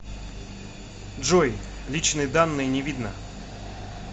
джой личные данные не видно